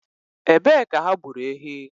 Ebe ka ha gburu ehi?